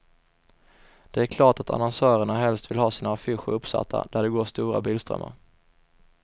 Det är klart att annonsörerna helst vill ha sina affischer uppsatta där det går stora bilströmmar.